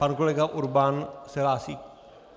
Pan kolega Urban se hlásí?